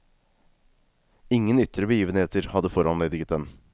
Ingen ytre begivenheter hadde foranlediget den.